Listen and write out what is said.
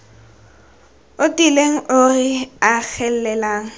o tiileng o re agelelang